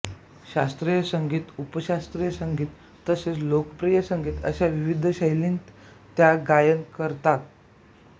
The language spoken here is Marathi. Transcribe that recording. शास्त्रीय संगीत उपशास्त्रीय संगीत तसेच लोकप्रिय संगीत अशा विविध शैलींत त्या गायन करतान